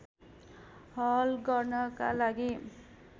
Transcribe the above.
हल गर्नका लागि